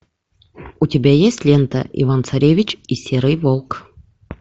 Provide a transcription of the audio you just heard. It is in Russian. у тебя есть лента иван царевич и серый волк